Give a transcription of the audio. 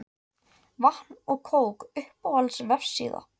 Vatn og kók Uppáhalds vefsíða?